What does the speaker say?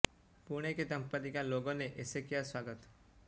पुणे के दंपति का लोगों ने ऐसे किया स्वागत